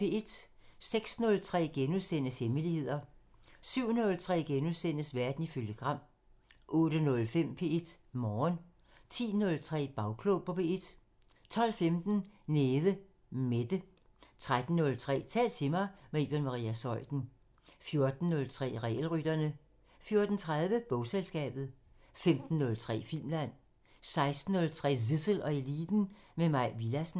06:03: Hemmeligheder * 07:03: Verden ifølge Gram * 08:05: P1 Morgen 10:03: Bagklog på P1 12:15: Nede Mette 13:03: Tal til mig – med Iben Maria Zeuthen 14:03: Regelrytterne 14:30: Bogselskabet 15:03: Filmland 16:03: Zissel og Eliten: Med Mai Villadsen